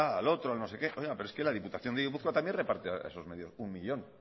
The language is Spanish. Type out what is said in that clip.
al otro al no sé qué oiga pero es que la diputación de gipuzkoa también reparte a esos medios uno millón